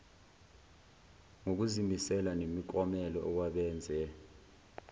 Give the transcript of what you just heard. ngokuzimisela nemiklomelo kwabenze